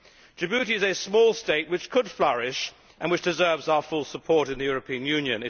Djibouti is a small state which could flourish and which deserves our full support in the European Union.